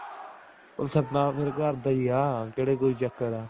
ਸਾਡਾ ਤਾਂ ਫ਼ੇਰ ਘਰਦਾ ਹੀ ਆ ਕਿਹੜਾ ਕੋਈ ਚੱਕਰ ਆ